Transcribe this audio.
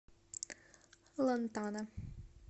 лантана